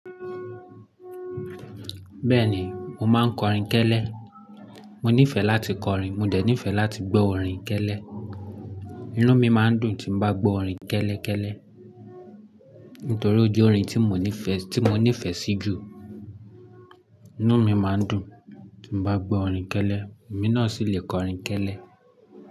Bẹ́ẹ̀ ni, mo máa ń kọrin kẹ́lẹ́. Mo nífẹ̀ẹ́ láti kọrin. Mo dẹ̀ nífẹ̀ẹ́ láti gbọ́ orin kẹ́lẹ́. Inú mi máa ń dùn tí n bá gbọ́ orin kẹ́lẹ́ kẹ́lẹ́. Nítorí ó jẹ́ orin tí mo nífẹ̀ẹ́, tí mo nífẹ̀ẹ́ sí jù. Inú mi máa ń dùn tí n bá gbọ́ orin kẹ́lẹ́. Èmi náà sì le kọ orin kẹ́lẹ́